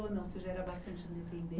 Ou não você já era bastante independen